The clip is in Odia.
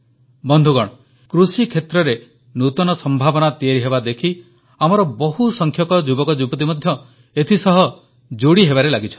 ବନ୍ଧୁଗଣ କୃଷିକ୍ଷେତ୍ରରେ ନୂତନ ସମ୍ଭାବନା ତିଆରି ହେବା ଦେଖି ଆମର ବହୁସଂଖ୍ୟକ ଯୁବକଯୁବତୀ ମଧ୍ୟ ଏଥିସହ ଯୋଡ଼ି ହେବାରେ ଲାଗିଛନ୍ତି